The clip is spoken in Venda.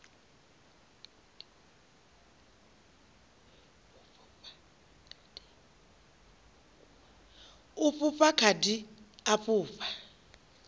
u fhufha khadi u fhufha